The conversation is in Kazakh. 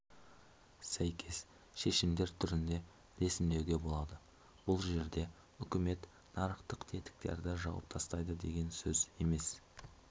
сәйкес шешімдер түрінде ресімдеуге болады бұл жерде үкімет нарықтық тетіктерді жауып тастайды деген сөз емес